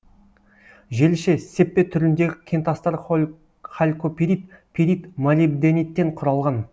желіше сеппе түріндегі кентастар халькопирит пирит молибдениттен құралған